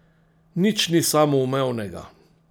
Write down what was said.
Nič ni samoumevnega.